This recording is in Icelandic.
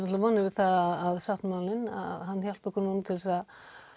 vonir við að sáttmálinn hjálpi okkur núna til þess að